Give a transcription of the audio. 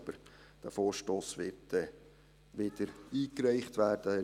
Aber dieser Vorstoss wird dann wieder eingereicht werden.